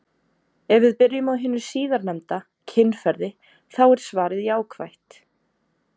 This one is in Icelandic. Ef við byrjum á hinu síðarnefnda, kynferði, þá er svarið jákvætt.